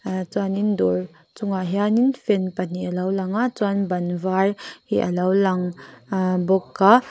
ah chuanin dawr chung ah hianin fan pahnih alo lang a chuan ban var hi alo lang ah bawk a.